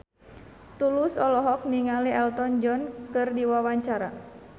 Tulus olohok ningali Elton John keur diwawancara